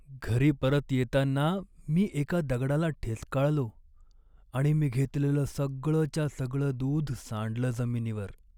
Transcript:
घरी परत येताना मी एका दगडाला ठेचकाळलो आणि मी घेतलेलं सगळंच्या सगळं दूध सांडलं जमिनीवर.